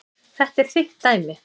Þetta er þitt dæmi.